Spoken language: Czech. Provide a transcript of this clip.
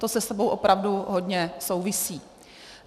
To se sebou opravdu hodně souvisí.